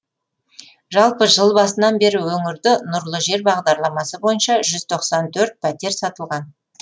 жалпы жыл басынан бері өңірде нұрлы жер бағдарламасы бойынша жүз тоқсан төрт пәтер сатылған